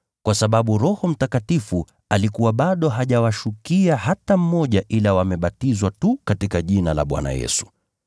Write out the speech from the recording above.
kwa sababu Roho Mtakatifu alikuwa bado hajawashukia hata mmoja ila wamebatizwa tu katika jina la Bwana Yesu.